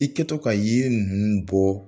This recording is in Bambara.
Ikɛtɔ ka yiri ninnu bɔ